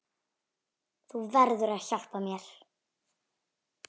Þú verður að hjálpa mér.